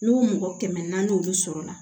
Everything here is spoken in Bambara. N'o mɔgɔ kɛmɛ naani sɔrɔla